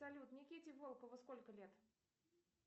салют никите волкову сколько лет